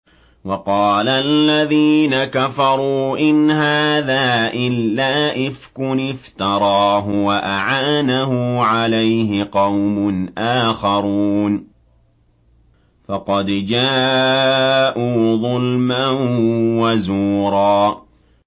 وَقَالَ الَّذِينَ كَفَرُوا إِنْ هَٰذَا إِلَّا إِفْكٌ افْتَرَاهُ وَأَعَانَهُ عَلَيْهِ قَوْمٌ آخَرُونَ ۖ فَقَدْ جَاءُوا ظُلْمًا وَزُورًا